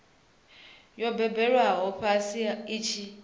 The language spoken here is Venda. yo gobelelwaho fhasi i tshi